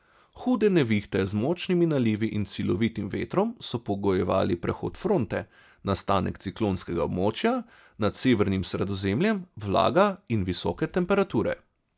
Hude nevihte z močnimi nalivi in silovitim vetrom so pogojevali prehod fronte, nastanek ciklonskega območja nad severnim Sredozemljem, vlaga in visoke temperature.